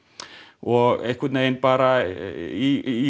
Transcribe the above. og einhvern veginn bara í